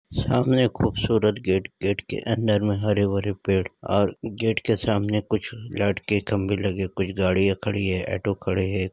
सामने खूबसूरत gate gate के अंदर मे हरे भरे पेड़ और गेट के सामने कुछ लाइट के खंबे लगे कुछ गाड़िया खड़ी है कुछ ऑटो खड़े है।